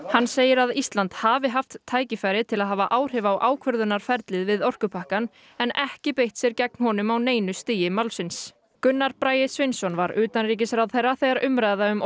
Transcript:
hann segir að Ísland hafi haft tækifæri til að hafa áhrif á ákvörðunarferlið við orkupakkann en ekki beitt sér gegn honum á neinu stigi málsins Gunnar Bragi Sveinsson var utanríkisráðherra þegar umræða um